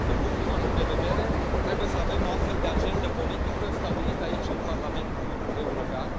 Din punctul nostru de vedere, trebuie să avem o astfel de agendă politică stabilită aici în Parlamentul European.